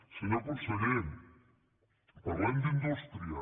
senyor conseller parlem d’indústria